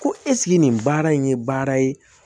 Ko nin baara in ye baara ye